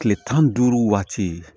Kile tan ni duuru waati